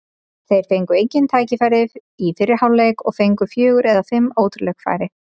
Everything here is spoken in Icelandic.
Þeir fengu engin tækifæri í fyrri hálfleik og við fengum fjögur eða fimm ótrúleg færi.